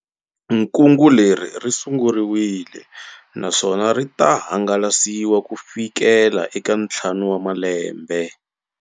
Kungu leri ri sunguriwile na swona ri ta hangalasiwa ku fikela eka ntlhanu wa malembe.